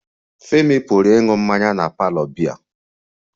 Femi pụrụ ịṅụ mmanya na parlour biya